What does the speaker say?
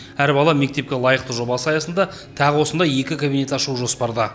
әр бала мектепке лайықты жобасы аясында тағы осындай екі кабинет ашу жоспарда